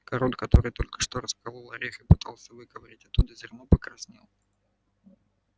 король который только что расколол орех и пытался выковырнуть оттуда зерно покраснел